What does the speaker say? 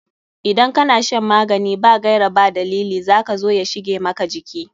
Idan ka na shan magani ba gaira ba dalili za ka zo ya shige maka jiki.